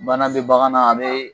Bana be bagan na a be